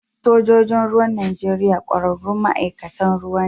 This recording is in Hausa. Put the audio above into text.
Sojojin ruwan Najeriya ƙwararrun ma'aikatan ruwa ne